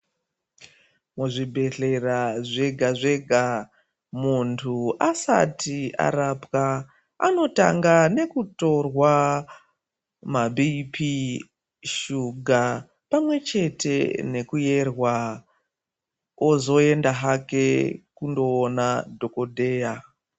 Muzvibhedhlera zvega zvega muntu asati arapwa anotanga nekutorwa mabhipii, shuga pamwechete nekuyerwa. Ozoenda hake kundoona dhokodheya.